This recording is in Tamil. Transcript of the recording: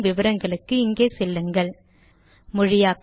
மேற்கொண்டு விவரங்களுக்கு இங்கே செல்லுங்கள் httpspoken tutorialorgNMEICT Intro